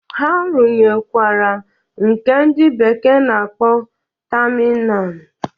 Ha runyekwara nke ndị bekee na-akpọ tamina